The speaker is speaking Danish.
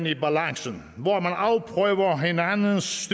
i balancen hvor man afprøver hinandens